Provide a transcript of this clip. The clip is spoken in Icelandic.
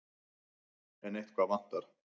En eitthvað vantar.